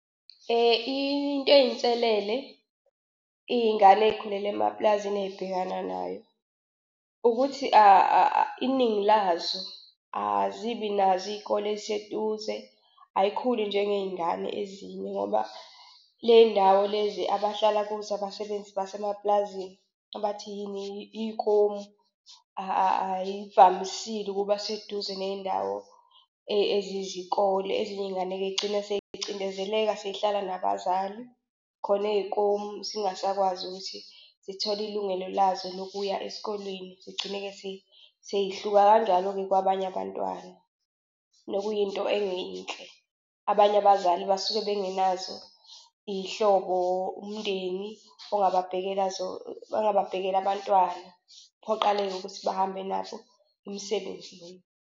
Into eyinselele iy'ngane ey'khulele emapulazini ey'bhekana nayo, ukuthi iningi lazo azibi nazo iy'kole eziseduze, ayikhuli njengey'ngane ezinye. Ngoba ley'ndawo lezi abahlala kuzo abasebenzi basemapulazini abathi yini yikomu ayivamisile ukuba seduze ney'ndawo ezizikole. Ezinye iy'ngane-ke yigcine seyicindezeleka sey'hlala nabazali, khona eyikomu zingasakwazi ukuthi zithole ilungelo lazo nokuya esikolweni, zigcine-ke sey'hluka kanjalo-ke kwabanye abantwana, nokuyinto engeyinhle. Abanye abazali basuke bengenazo iy'hlobo, umndeni, ongababhekela ongababhekela abantwana. Kuphoqaleke ukuthi bahambe nabo imisebenzi leyo.